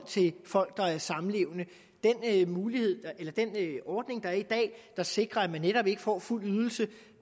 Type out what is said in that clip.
til folk der er samlevende den ordning der er i dag der sikrer at man netop ikke får fuld ydelse